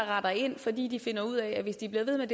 retter ind fordi de finder ud af at hvis de bliver ved med